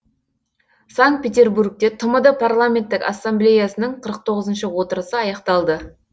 санкт петербургте тмд парламенттік ассамблеясының қырық тоғызыншы отырысы аяқталды